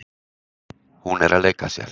Hún er að leika sér.